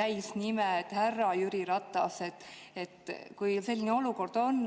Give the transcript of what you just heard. täisnime, näiteks "härra Jüri Ratas", kui selline olukord on?